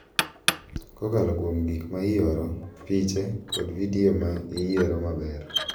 Kokalo kuom gik ma ioro, piche, kod vidio ma iyiero maber.